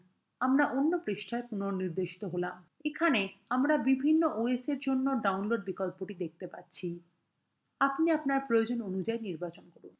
আমরা অন্য পৃষ্ঠায় পুনঃনির্দেশিত হলাম এখানে আমরা বিভিন্ন oswe জন্য download বিকল্পটি দেখতে পাচ্ছি; আপনি আপনার প্রয়োজন অনুযায়ী নির্বাচন করুন